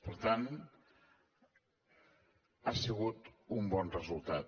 per tant ha sigut un bon resultat